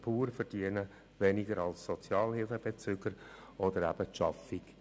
So verdienen «Working Poor» weniger als Sozialhilfebezüger, und es wird auch